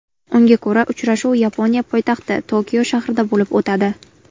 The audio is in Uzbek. Unga ko‘ra, uchrashuv Yaponiya poytaxti Tokio shahrida bo‘lib o‘tadi.